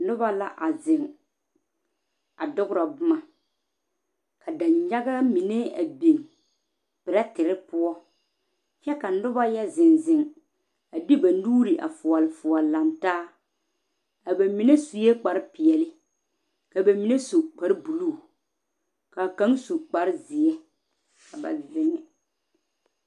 Noba la a zeŋ a doɔrɔ boma ka danyaga mine a biŋ peɛtere poɔ kyɛ ka noba yɛ zeŋ zeŋ a de ba nuure a fuolefuole lantaa a ba mine suɛ kpare peɛle ka ba mine su kpare buluu kaa kaŋa su kpare ziɛ ka ba zeŋe.